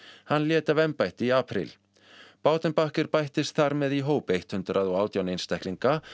hann lét af embætti í apríl bættist þar með í hóp hundrað og átján einstaklinga